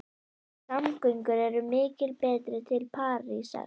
Samgöngur eru miklu betri til Parísar.